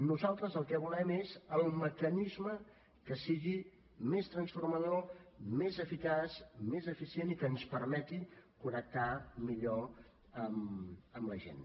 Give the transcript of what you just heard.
nosaltres el que volem és el mecanisme que sigui més transformador més eficaç més eficient i que ens permeti connectar millor amb la gent